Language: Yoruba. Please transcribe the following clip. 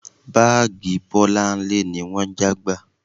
Báàgì Bọlá ni wọ́n já gbà